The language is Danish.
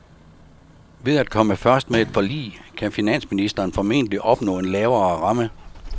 Ved at komme først med et forlig kan finansministeren formentlig opnå en lavere ramme.